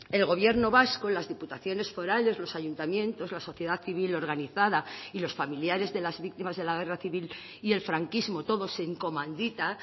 el gobierno vasco las diputaciones forales los ayuntamientos la sociedad civil organizada y los familiares de las víctimas de la guerra civil y el franquismo todos en comandita